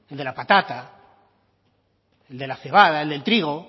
de la patata el de la cebada el del trigo